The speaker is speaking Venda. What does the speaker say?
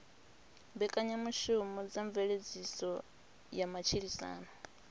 mbekanyamushumo dza mveledziso ya matshilisano